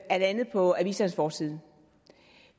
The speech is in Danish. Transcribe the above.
er landet på avisernes forsider